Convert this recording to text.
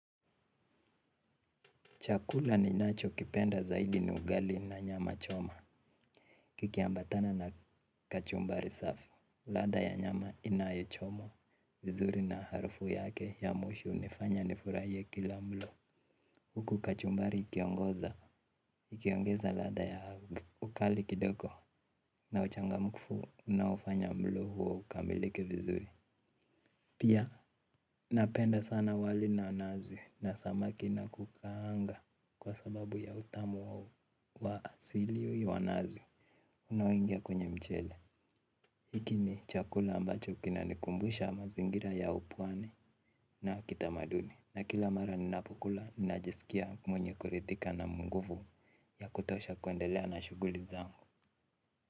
Chakula ninachokipenda zaidi ni ugali na nyama choma, kikiambatana na kachumbari safi, ladha ya nyama inayochomwa, vizuri na harufu yake ya mwisho hunifanya nifurahie kila mlo, huku kachumbari ikiongoza, ikiongeza ladha ya ukali kidoko, na uchangamfu unaofanya mlo ukamilike vizuri. Pia napenda sana wali na nazi na samaki na kukaanga kwa sababu ya utamu wa asili huyo wa nazi unaoingia kwenye mchele. Hiki ni chakula ambacho kinanikumbusha mazingira ya upwani na kitamaduni. Na kila mara ninapokula ninajisikia mwenye kuridhika na nguvu ya kutosha kuendelea na shughuli zangu.